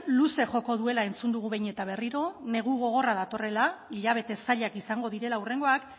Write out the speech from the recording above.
luze joko duela entzun dugu behin eta berriro negu gogorra datorrela hilabete zailak izango direla hurrengoak